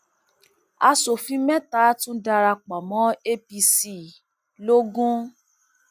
aṣòfin mẹta tún darapọ mọ apc logun